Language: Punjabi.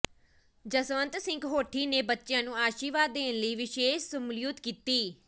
ਜਸਵੰਤ ਸਿੰਘ ਹੋਠੀ ਨੇ ਬੱਚਿਆਂ ਨੂੰ ਆਸ਼ੀਰਵਾਦ ਦੇਣ ਲਈ ਵਿਸ਼ੇਸ਼ ਸ਼ਮੂਲੀਅਤ ਕੀਤੀ